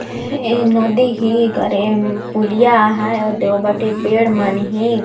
ए नदी ही करे एम पुलिया आहय ओदे ओ बटे पेड़ मन हे।